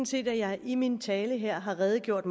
set at jeg i min tale har redegjort